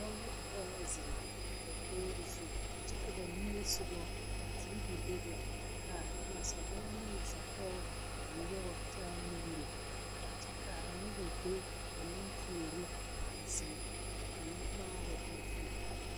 Dɔɔ ne pɔge la zeŋ dakogi zu kyɛ ka ba niŋesogɔ ka tiivi bebe ka nasadɔɔ ne nasapɔge a nyɔgre taa nuuri kyɛ ka noba be ba meŋ puori a zeŋe ka kaŋa maare o zu.